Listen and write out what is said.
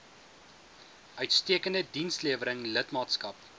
uitstekende dienslewering lidmaatskap